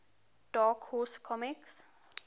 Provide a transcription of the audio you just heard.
dark horse comics